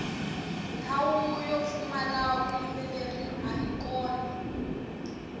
ndhawu yo pfumala vuyimbeleri ayi kona